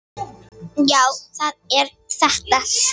Já, það er þetta sem.